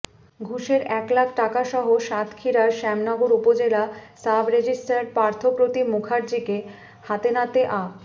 ঘুষের এক লাখ টাকাসহ সাতক্ষীরার শ্যামনগর উপজেলা সাব রেজিস্ট্রার পার্থ প্রতিম মুখার্জীকে হাতেনাতে আ